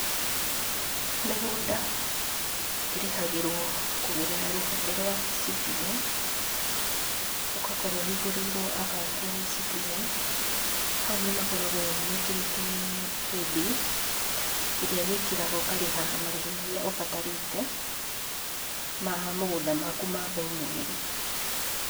Mĩgũnda ĩrĩhagĩrwo kũgerera rũhonge rwa eCitizen, ũgakorwo ũhingũrĩirwo akaunti ya eCitizen, hau nĩ makoragwo mekĩrite paybill ĩrĩa wĩkĩraga ũkarĩha marĩhi marĩa ũbatarĩte ma mũgũnda maku ma o mweri.